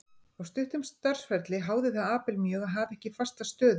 Á stuttum starfsferli háði það Abel mjög að hafa ekki fasta stöðu.